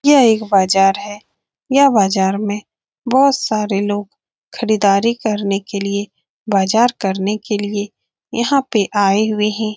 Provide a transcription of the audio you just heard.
यह एक बाज़ार है यहाँ बाज़ार में बहुत सारे लोग खरीदारी करने के लिए बाज़ार करने के लिए यहाँ पे आए हुए हैं ।